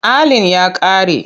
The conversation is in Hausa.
Allin ya ƙare.